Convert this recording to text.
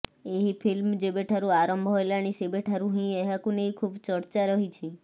ଏହି ଫିଲ୍ମ ଯେବେଠାରୁ ଆରମ୍ଭ ହେଲାଣି ସେବେଠାରୁ ହିଁ ଏହାକୁ ନେଇ ଖୁବ ଚର୍ଚ୍ଚା ରହିଛି